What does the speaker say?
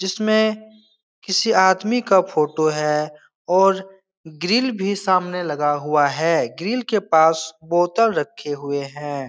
जिसमे किसी आदमी का फोटो है। और ग्रिल भी सामने लगा हुआ है। ग्रिल के पास बोतल रखे हुए है।